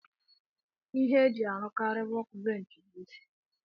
Ihe eji arụkari wọk benchi bu osisi.